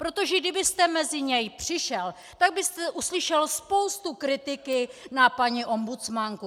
Protože kdybyste mezi něj přišel, tak byste uslyšel spoustu kritiky na paní ombudsmanku.